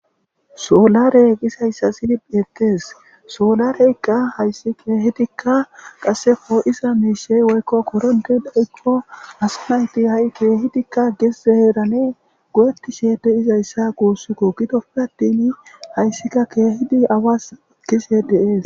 soolare gisayssa sidi yettees soolareyqqa hayssi keehidikka qassefoo7isa miishey woykko koronte dha7ikko asanayti ha7i keehidikka geszeheerane go7eti shede izayssa guussukko gidoppe attin hayssika keehidi awas gise deees